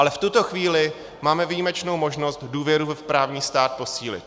Ale v tuto chvíli máme výjimečnou možnost důvěru v právní stát posílit.